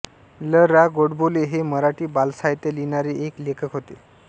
ल रा गोडबोले हे मराठी बालसाहित्य लिहिणारे एक लेखक होते